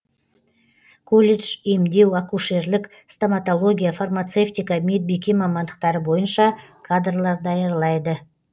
колледж емдеу акушерлік стоматология фармацевтика медбике мамандықтары бойынша кадрлар даярлайды